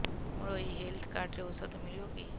ମୋର ଏଇ health card ରେ ଔଷଧ ମିଳିବ କି